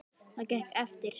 Það gekk eftir.